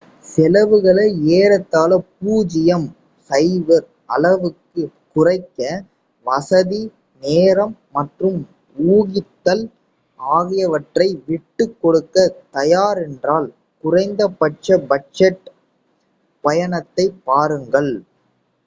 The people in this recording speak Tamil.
செலவுகளை ஏறத்தாழ பூஜ்யம் 0 அளவுக்குக் குறைக்க வசதி நேரம் மற்றும் ஊகித்தல் ஆகியவற்றை விட்டுக் கொடுக்க தயாரென்றால் குறைந்த பட்ச பட்ஜெட் பயணத்தைப் பாருங்கள்